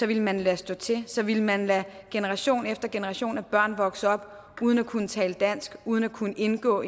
ville man lade stå til så ville man lade generation efter generation af børn vokse op uden at kunne tale dansk uden at kunne indgå